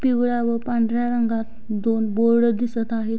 पिवळ्या व पांढऱ्या रंगात दोन बोर्ड दिसत आहेत.